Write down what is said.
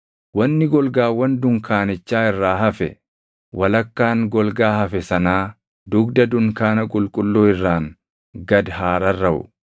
Wanni golgaawwan dunkaanichaa irraa hafe, walakkaan golgaa hafe sanaa dugda dunkaana qulqulluu irraan gad haa rarraʼu.